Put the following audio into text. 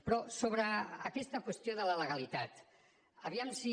però sobre aquesta qüestió de la legalitat a veure si